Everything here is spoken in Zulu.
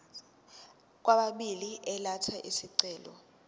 kwababili elatha isicelo